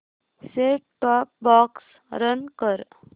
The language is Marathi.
सेट टॉप बॉक्स रन कर